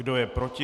Kdo je proti?